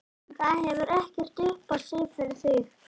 Það hefur ekkert upp á sig fyrir þig.